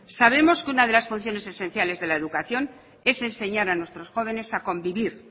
sabemos que una de las funciones esenciales de la educación es enseñar a nuestros jóvenes a convivir